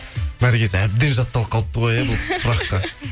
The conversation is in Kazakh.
наргиз әбден жатталып қалыпты ғой иә бұл сұраққа